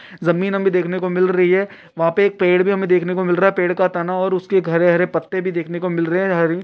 जमीन हमे देखने को मिल रही है वह पे पेड़ भी हमे देखने को मिल रहा है पेड़ का तना और उसके हरे-हरे पत्ते भी देखने को मिल रहे हैं हरी --